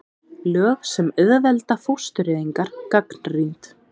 Lög sem auðvelda fóstureyðingar gagnrýnd